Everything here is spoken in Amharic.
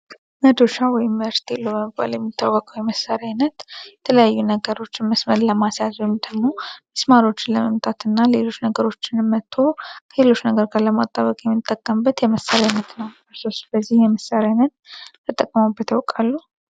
መዶሻ ወይም ሜርቴሎ በመባል የሚታወቀው የመሳሪያ አይነት የተለያዩ ነገሮችን መስመር ለማስያዝ ወይ ሚስማሮችን ለመምጣት እንደዚሁም ሌሎች ነገሮችን መጥቶ ከሌሎች ነገሮች ጋር ለማጣበቅ የሚጠቅሙ የመሳሪያ አይነት ነው ስለዚህ የመሣሪያ አይነት የምታውቁት ነገር አለ?